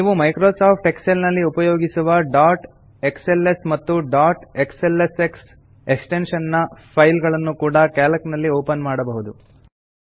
ನೀವು Microsoft Excel ನಲ್ಲಿ ಉಪಯೋಗಿಸುವ ಡಾಟ್ ಎಕ್ಸ್ಎಲ್ಎಸ್ ಮತ್ತು ಡಾಟ್ ಎಕ್ಸ್ಎಲ್ಎಸ್ಎಕ್ಸ್ ಎಕ್ಸ್ಟೆನ್ಶನ್ ನ ಫೈಲ್ ಗಳನ್ನು ಕೂಡಾ ಕ್ಯಾಲ್ಕ್ ನಲ್ಲಿ ಓಪನ್ ಮಾಡಬಹುದು